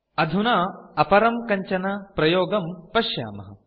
अधुना अपरं कञ्चन प्रयोगं पश्यामः